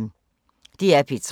DR P3